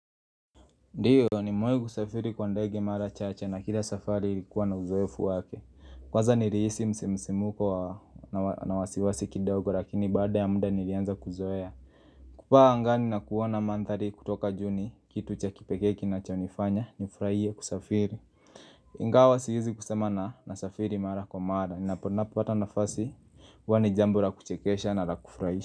Ndiyo, nimewahi kusafiri kwa ndege mara chache na kila safari likuwa na uzoefu wake Kwanza nilihisi msisimko na wasiwasi kidogo lakini baada ya muda nilianza kuzoea kupaa angani na kuona mandhari kutoka juu ni kitu cha kipekee kinachonifanya nifurahie kusafiri Ingawa siwezi kusema nasafiri mara kwa mara. Ninapopata nafasi huwa ni jambo la kuchekesha na la kufurahisha.